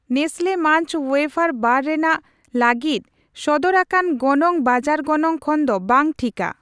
Nestle ᱢᱟᱧᱪ ᱳᱭᱮᱯᱷᱟᱨ ᱵᱟᱨ ᱨᱮᱱᱟᱜ ᱞᱟᱹᱜᱤᱫ ᱥᱚᱫᱚᱨ ᱟᱠᱟᱱ ᱜᱚᱱᱚᱝ ᱵᱟᱡᱟᱨ ᱜᱚᱱᱚᱝ ᱠᱷᱚᱱᱫᱚ ᱵᱟᱝ ᱴᱷᱤᱠᱟ ᱾